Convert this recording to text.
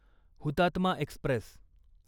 Hutatma Express